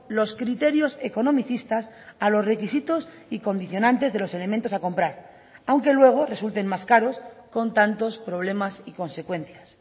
los criterios economicistas a los requisitos y condicionantes de los elementos a comprar aunque luego resulten más caros con tantos problemas y consecuencias